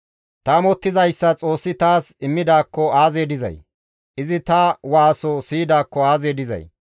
«Ta amottizayssa Xoossi taas immidaakko aazee dizay! Izi ta waaso siyidaakko aazee dizay!